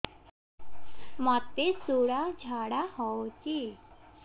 ମୋତେ ଶୂଳା ଝାଡ଼ା ହଉଚି